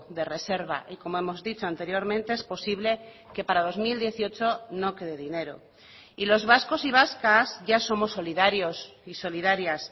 de reserva y como hemos dicho anteriormente es posible que para dos mil dieciocho no quede dinero y los vascos y vascas ya somos solidarios y solidarias